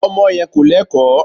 Ọmọ yẹn kò Lẹ́kọ̀ọ́.